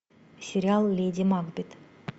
сериал леди макбет